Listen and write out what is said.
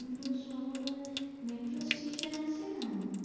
Metro station আছে না?